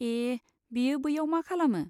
ए, बियो बैयाव मा खालामो?